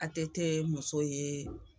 ATT muso ye